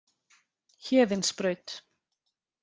Héðinsbraut